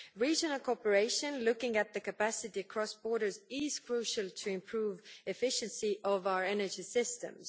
Regional cooperation, looking at the capacity across borders, is crucial to improve the efficiency of our energy systems.